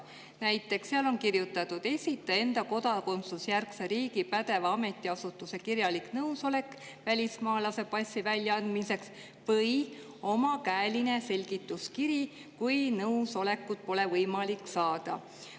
Näiteks on seal kirjutatud: esitaja enda kodakondsusjärgse riigi pädeva ametiasutuse kirjalik nõusolek välismaalase passi väljaandmiseks või omakäeline selgituskiri, kui nõusolekut pole võimalik saada.